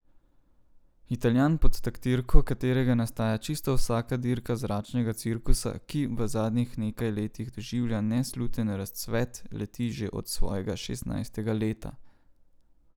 Italijan, pod taktirko katerega nastaja čisto vsaka dirka zračnega cirkusa, ki v zadnjih nekaj letih doživlja nesluten razcvet, leti že od svojega šestnajstega leta.